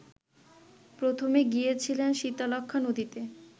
প্রথমে গিয়েছিলেন শীতলক্ষ্যা নদীতে